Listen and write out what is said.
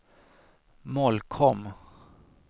Molkom